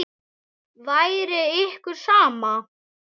Væri ykkur sama?